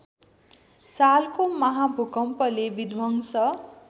सालको महाभूकम्पले विध्वंस